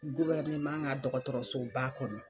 ka dɔgɔtɔrɔsoba kɔnɔ.